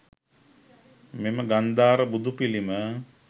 මෙම ගන්ධාර බුදු පිළිම